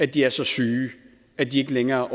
de er så syge at de ikke længere